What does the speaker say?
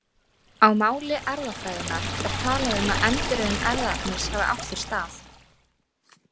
Á máli erfðafræðinnar er talað um að endurröðun erfðaefnis hafi átt sér stað.